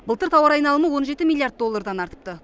былтыр тауар айналымы он жеті миллиард доллардан артыпты